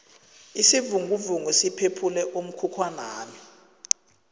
isivinguvungu siphephule umkhukhwanami